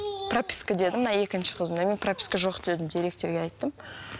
прописка деді мына екінші қызымды мен прописка жоқ дедім директорға айттым